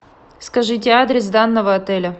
скажите адрес данного отеля